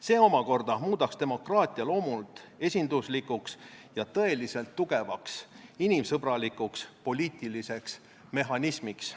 See omakorda muudaks demokraatia loomult esinduslikuks ja tõeliselt tugevaks inimsõbralikuks poliitiliseks mehhanismiks.